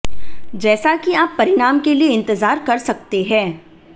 जैसा कि आप परिणाम के लिए इंतजार कर सकते हैं